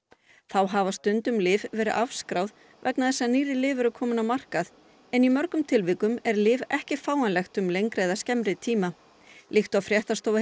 þá hafa stundum lyf verið afskráð vegna þess að nýrri lyf eru kominn á markað en mörgum tilvikum er lyf ekki fáanlegt um lengri eða skemmri tíma líkt og fréttastofa